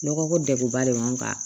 Lɔgɔ ko degunba de b'an kan